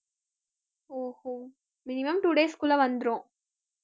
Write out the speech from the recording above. ஓ ஓ minimum two days க்குள்ள வந்திரும்